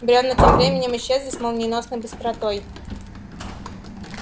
бревна тем временем исчезли с молниеносной быстротой